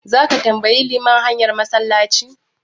Zaka tambayi liman hanyar massalaci?